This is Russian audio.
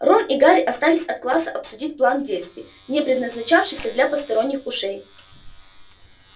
рон и гарри остались от класса обсудить план действий не предназначавшийся для посторонних ушей